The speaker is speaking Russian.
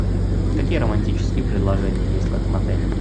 какие романтические предложения есть в этом отеле